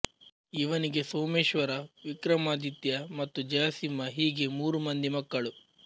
ಇವನಿಗೆ ಸೋಮೇಶ್ವರ ವಿಕ್ರಮಾದಿತ್ಯ ಮತ್ತು ಜಯಸಿಂಹ ಹೀಗೆ ಮೂರು ಮಂದಿ ಮಕ್ಕಳು